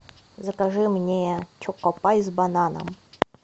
закажи мне чокопай с бананом